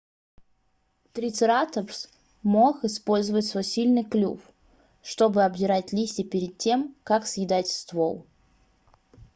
трицератопс мог использовать свой сильный клюв чтобы обдирать листья перед тем как съедать ствол